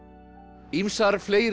ýmsar fleiri